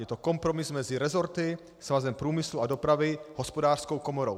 Je to kompromis mezi rezorty, Svazem průmyslu a dopravy, Hospodářskou komorou."